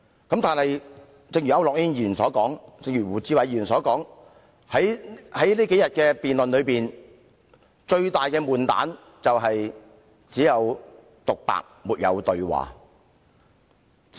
正如區諾軒議員及胡志偉議員所說，這數天的辯論的悶局是只有獨白，沒有對話。